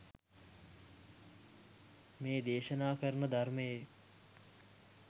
මේ දේශනා කරන ධර්මයේ